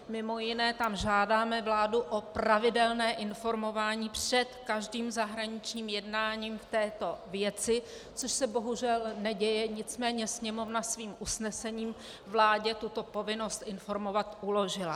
Mimo jiné tam žádáme vládu o pravidelné informování před každým zahraničním jednáním v této věci, což se bohužel neděje, nicméně Sněmovna svým usnesením vládě tuto povinnost informovat uložila.